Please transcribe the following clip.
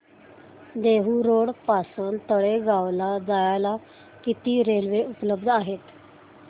Dehu road पासून तळेगाव ला जायला किती रेल्वे उपलब्ध आहेत